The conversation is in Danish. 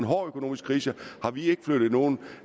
hård økonomisk krise flyttet nogen